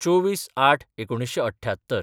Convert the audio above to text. २४/०८/१९७८